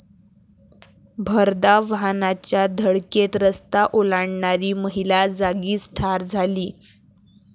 भरधाव वाहनाच्या धडकेत रस्ता ओलांडणारी महिला जागीच ठार झाली.